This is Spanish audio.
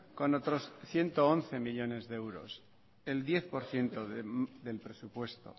con otros ciento once millónes de euros el diez por ciento del presupuesto